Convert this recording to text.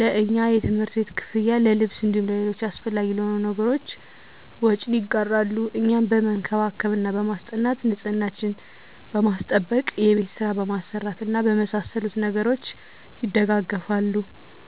ለእኛ የትምህርት ቤት ክፍያ፣ ለልብስ እንዲሁም ለሌሎች አሰፈላጊ ለሆኑ ነገሮች ወጪን ይጋራሉ። እኛን በመንከባከብ እና በማስጠናት፦ ንፅህናችንን በማስጠበቅ፣ የቤት ስራ በማሰራት እና በመሳሰሉት ነገሮች ይደጋገፋሉ።